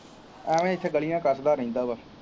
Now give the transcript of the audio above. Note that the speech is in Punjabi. ਐਂਵੇ ਇੱਥੇ ਗਲੀਆਂ ਕਸਦਾ ਰਹਿੰਦਾ ਹੈ।